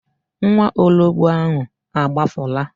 Nwaologbo ahụ a gbafuola?